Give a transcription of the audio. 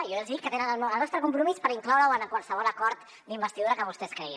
jo ja els hi dic que tenen el nostre compromís per incloure ho en qualsevol acord d’investidura que vostès creguin